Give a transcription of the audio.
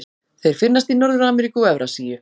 Þeir finnast í Norður-Ameríku og Evrasíu.